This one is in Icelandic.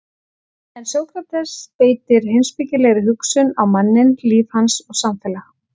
En Sókrates beitir heimspekilegri hugsun á manninn, líf hans og samfélag.